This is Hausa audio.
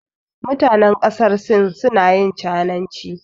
Mutanen ƙasar Sin suna yin cananci.